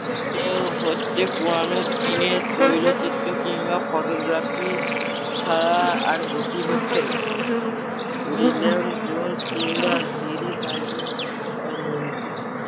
তেওঁ হচ্ছে পুরানো দিনের তৈল চিত্র কিংবা photography ছাড়া আর গতি হচ্ছে না। উইলিয়ান জোনস কিংবা গিরি সাইলেশ ও মন্ত্রী